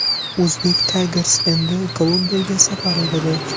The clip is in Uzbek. Uzbek Tigers endi Kolumbiyaga safar etadi.